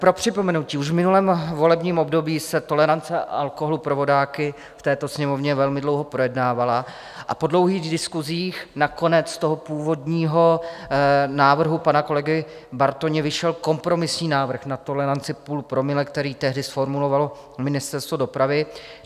Pro připomenutí, už v minulém volebním období se tolerance alkoholu pro vodáky v této Sněmovně velmi dlouho projednávala a po dlouhých diskusích nakonec z toho původního návrhu pana kolegy Bartoně vyšel kompromisní návrh na toleranci 0,5 promile, který tehdy zformulovalo Ministerstvo dopravy.